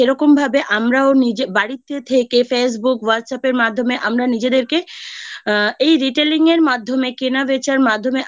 সে রকম ভাবে আমরাও নিজের বাড়িতে থেকে Facebook WhatsApp এর মাধ্যমে আমরা নিজেদেরকে এই Retailing এর মাধ্যমে কেনা বেচার মাধ্যমে